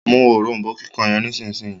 mú òrombó kíkàn yen Nísìsiyìí.